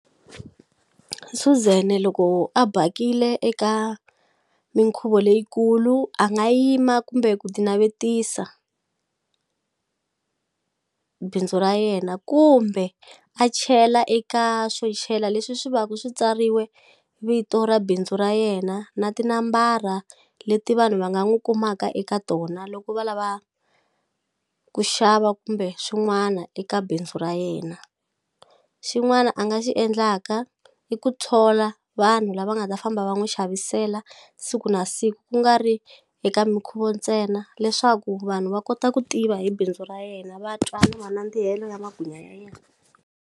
Suzan loko a bakile eka mikhuvo leyikulu a nga yima kumbe ku ti navetisa bindzu ra yena kumbe a chela eka swona chela leswi swi va ku swi tsariwe vito ra bindzu ra yena na tinambara leti vanhu va nga n'wu kumaka eka tona loko va lava ku xava kumbe swin'wana eka bindzu ra yena xin'wana a nga xi endlaka i ku thola vanhu lava nga ta famba va n'wi xavisela siku na siku kungari eka mikhuvo ntsena leswaku vanhu va kota ku tiva hi bindzu ra yena va twa ni manandzihelo ya magwinya ya yena.